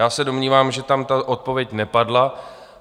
Já se domnívám, že tam ta odpověď nepadla.